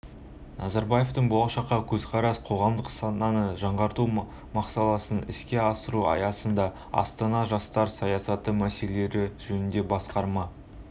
назарбаевтың болашаққа көзқарас қоғамдық сананы жаңғырту мақаласын іске асыру аясында астана жастар саясаты мәселелері жөнінде басқарма